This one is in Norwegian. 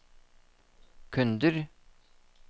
kunder